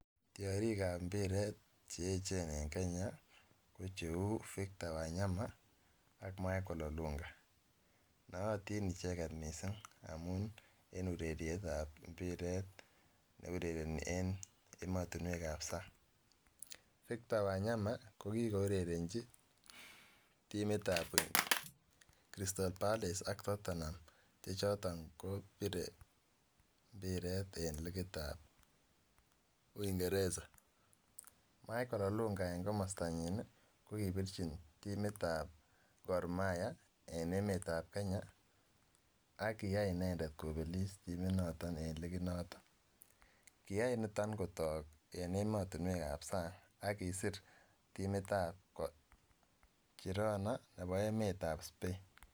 Tiorikab mpiret che eechen en Kenya ko cheu Victor Wanyama ak Michael Olunga, nootin icheket mising amun en urerietab mpiret ne urereni en emotinwekab sang, Victor Wanyama ko kikourerenchi timitab Crystal Palace ak Tottenham che choton kobire mpiret en likitab uingeresa, Michael Olunga en komostanyin ii ,kokibirchin timitab Gormahia en emetab Kenya ak kiyai inendet kopelis timit noto en liginoto. kiyai niton kotok en emotinwekab sang ak kisir timitab Girona nebo emetab Spain.